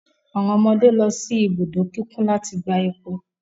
Awọn ọmọde lọ si ibudo kikun lati gba epo